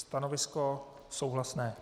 Stanovisko souhlasné.